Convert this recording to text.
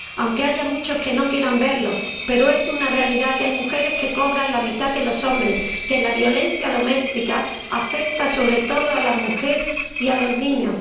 Aunque haya muchos que no quieran verlo, es una realidad que hay mujeres que cobran la mitad que los hombres, que la violencia doméstica afecta sobre todo a las mujeres y a los niños.